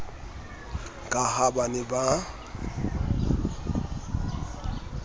ka ha ba ne ba